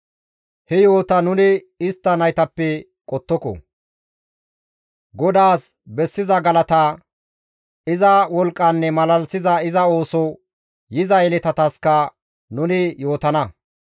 He yo7ota nuni istta naytappe qottoko; GODAAS bessiza galata, iza wolqqanne malalisiza iza ooso yiza yeletataskka nuni yootana.